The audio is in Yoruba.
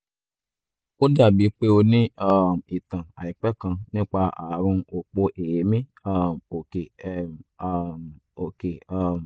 ó dàbíi pé o ní um ìtàn àìpẹ́ kan nípa ààrùn òpó èémí um òkè um um òkè um